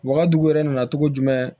Wa n ka dugu yɛrɛ nana cogo jumɛn